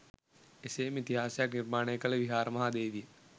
එසේ ම ඉතිහාසයක් නිර්මාණය කළ විහාර මහා දේවිය